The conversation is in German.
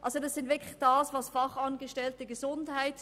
Es geht zum Beispiel um die Fachangestellten Gesundheit.